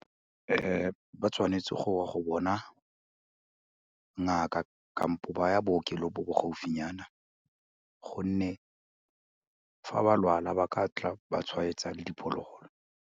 Ba tshwanetse goya go bona ngaka ba ya bookelong bo bo gaufinyana gonne fa ba lwala ba ka tla ba tshwaetsa le diphologolo.